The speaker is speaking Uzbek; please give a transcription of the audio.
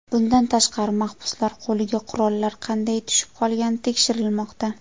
Bundan tashqari, mahbuslar qo‘liga qurollar qanday tushib qolgani tekshirilmoqda.